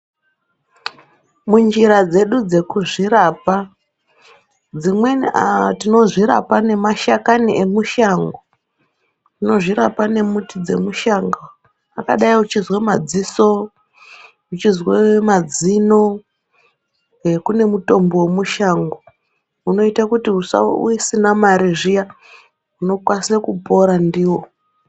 Munjira dzedu dzekuzvirapa dzimweni tinozvirapa nemashakani emushango. Tinozvirapa nemuti dzemushango vakadai uchizwa madziso, uchizwe mazino ,kune mutombo vemushango unoita kuti usa usina mari zviya ,unokwanise kupora ndiwo.